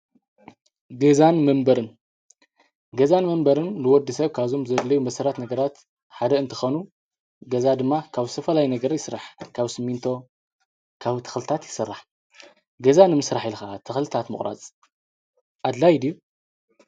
ገዛን መንበርን ገዛን መንበርን ንወዲ ሰብ ካብዞም ዘድልዩ መሰረታዊ ነገራት ሓደ እንትኾን ገዛ ድማ ካብ ዝተፈላለየ ነገር ይስራሕ። ካብ ስሚንቶ ፣ካብ ተክልታት ይሰራሕ። ገዛ ንምስራሕ ኢልካ ተኽልታት ምቁራፅ ኣድላዪ ድዩ?